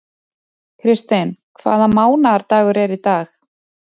Kristinn, hvaða mánaðardagur er í dag?